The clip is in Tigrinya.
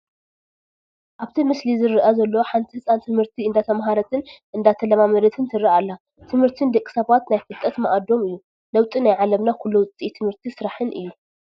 ኣብቲ ምስሊ ዝረአ ዘሎ ሓንቲ ህፃን ትምህርቲ እንዳተማሃረትን እንዳተለማመደትን ትረአ ኣላ፡፡ ትምህርቲ ንደቂ ሰባት ናይ ፍልጠት ማኣዶም እዩ፡፡ ለውጢ ናይ ዓለምና ኩሉ ውፅኢት ትምህርቲ ስራሕን እዩ፡፡